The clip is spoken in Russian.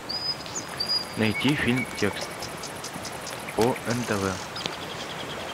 найти фильм текст по нтв